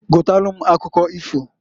Gotalu m akụkọ ifoǃ